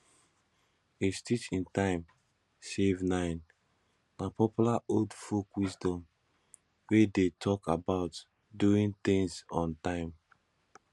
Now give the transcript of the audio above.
a stitch in time save nine na popular old folk wisdom wey de talk about doing things on time